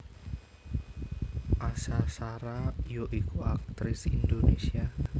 Asha Shara ya iku aktris Indonesia